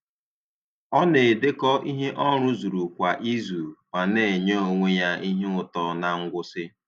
Ọ na-edekọ ihe ọ rụzuru kwa izu ma na-enye onwe ya ihe ụtọ na ngwụsị.